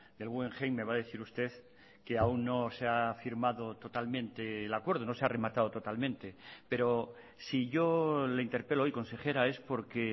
del guggenheim me va a decir usted que aun no se ha firmado totalmente el acuerdo no se ha rematado totalmente pero si yo le interpelo hoy consejera es porque